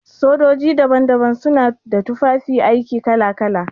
Sojoji daban-daban su na da tufafi aiki kala-kala.